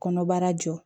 Kɔnɔbara jɔ